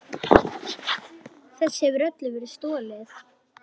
Þessu hefur öllu verið stolið!